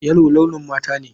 Yellow launin mata ne.